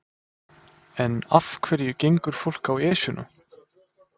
En af hverju gengur fólk á Esjuna?